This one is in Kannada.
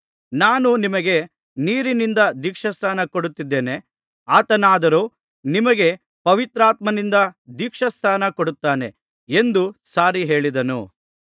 ನಾನು ನಿಮಗೆ ನೀರಿನಿಂದ ದೀಕ್ಷಾಸ್ನಾನ ಕೊಡುತ್ತಿದ್ದೇನೆ ಆತನಾದರೋ ನಿಮಗೆ ಪವಿತ್ರಾತ್ಮನಿಂದ ದೀಕ್ಷಾಸ್ನಾನ ಕೊಡುತ್ತಾನೆ ಎಂದು ಸಾರಿ ಹೇಳಿದನು